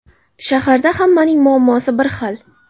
Shaharda hammaning muammosi bir xil.